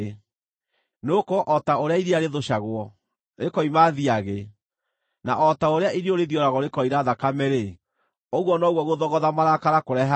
Nĩgũkorwo o ta ũrĩa iria rĩthũcagwo, rĩkoima thiagĩ, na o ta ũrĩa iniũrũ rĩthioragwo rĩkoira thakame-rĩ, ũguo noguo gũthogotha marakara kũrehaga ngũĩ.”